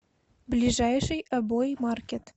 ближайший обои маркет